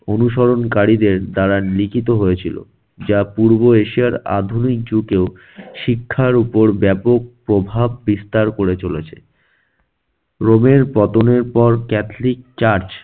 অনুসরণকারীদের দ্বারা লিখিত হয়েছিল, যা পূর্ব এশিয়ার আধুনিক যুগেও শিক্ষার উপর ব্যাপক প্রভাব বিস্তার করে চলেছে। রোমের পতনের পর catholic church